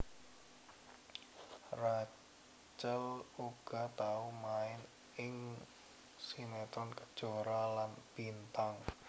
Rachel uga tau main ing sinetron Kejora lan Bintang